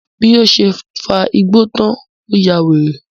Bí ó ṣe fa igbó tan, ó yawèrè.